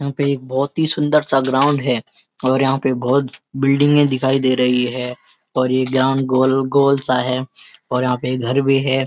यहां पे एक बहुत ही सुन्‍दर-सा ग्राउंड हैं और यहां पे बहुत बिल्डिंग दिखाई दे रही हैं और ये ग्राउंड गोल-गोल सा है और यहां पे घर भी है |